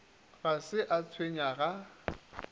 ga se a tshwenya ga